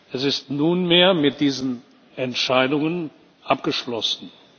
Es ist nunmehr mit diesen Entscheidungen abgeschlossen.